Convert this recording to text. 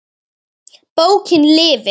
Ekki ein rækja.